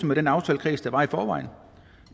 med den aftalekreds der var i forvejen